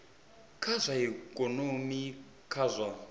kha zwa ikonomi kha zwa